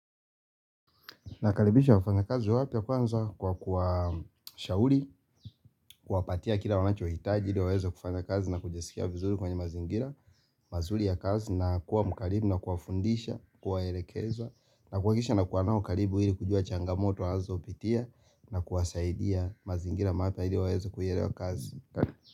Nakaribisha wafanyakazi wapya kwanza kwa kuwashauri, kuwapatia kile wanachohitaji ili waweze kufanya kazi na kujisikia vizuri kwenye mazingira mazuri ya kazi na kuwa mkarimu na kuwafundisha kuwaelekeza na kuhakisha nakuwa nao karibu ili kujua changamoto wazopitia na kuwasaidia mazingira mappa ili waweze kuierewa kazi.